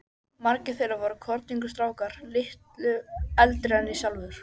Margir þeirra voru kornungir strákar, litlu eldri en ég sjálfur.